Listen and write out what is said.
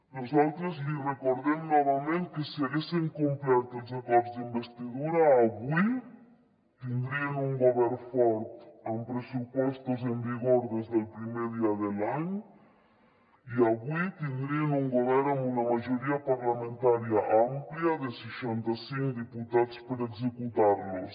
nosaltres li recordem novament que si haguessin complert els acords d’investidura avui tindrien un govern fort amb pressupostos en vigor des del primer dia de l’any i avui tindrien un govern amb una majoria parlamentària àmplia de seixanta cinc diputats per executar los